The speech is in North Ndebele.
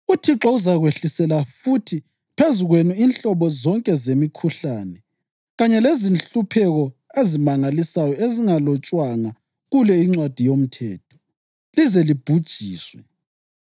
UThixo uzakwehlisela futhi phezu kwenu inhlobo zonke zemikhuhlane kanye lezinhlupheko ezimangalisayo ezingalotshwanga kule iNcwadi yoMthetho, lize libhujiswe.